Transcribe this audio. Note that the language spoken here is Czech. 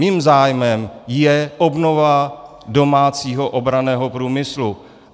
Mým zájmem je obnova domácího obranného průmyslu.